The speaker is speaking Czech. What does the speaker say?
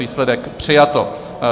Výsledek: přijato.